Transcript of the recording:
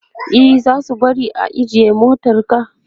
e zasu bari ka ajiye motarka